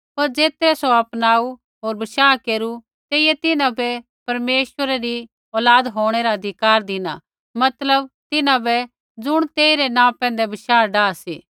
पर ज़ेतरै सौ अपनाऊ होर बशाह केरू तेइयै तिन्हां बै परमेश्वरै री औलाद होंणै रा अधिकार धिना मतलब तिन्हां बै ज़ुण तेइरै नाँ पैंधै बशाह डाहा सी